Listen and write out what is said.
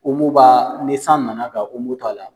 b'a, ni san nana ka to a la